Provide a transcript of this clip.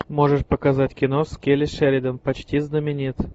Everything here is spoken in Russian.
можешь показать кино с келли шеридан почти знаменит